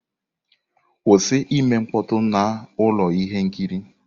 Kwụsị ime mkpọtụ na ụlọ ihe nkiri!